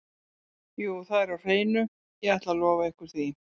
Jú það er á hreinu, ég ætla að lofa ykkur því.